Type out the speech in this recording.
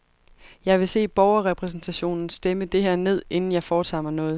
Jeg vil se borgerrepræsentationen stemme det her ned, inden jeg foretager mig noget.